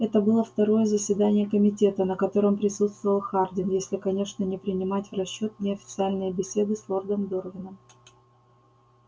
это было второе заседание комитета на котором присутствовал хардин если конечно не принимать в расчёт неофициальные беседы с лордом дорвином